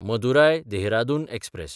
मदुराय–देहरादून express